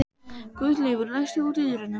Guðleifur, læstu útidyrunum.